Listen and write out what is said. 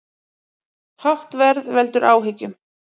Hátt verð veldur áhyggjum